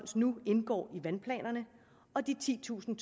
nu indgår i vandplanerne og de titusind